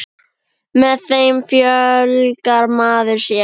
Með þeim fjölgar maður sér.